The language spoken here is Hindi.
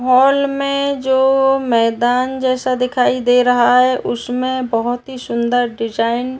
हॉल में जो मैंदान जेसा दिखाई दे रहा है उसमे बहोत ही शुन्दर डिजाईन --